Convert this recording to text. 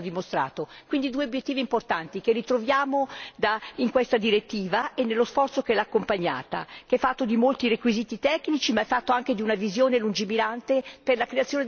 Si tratta di due obiettivi importanti che ritroviamo in questa direttiva e nello sforzo che l'ha accompagnata, fatto di molti requisiti tecnici, ma anche di una visione lungimirante per la creazione delle infrastrutture.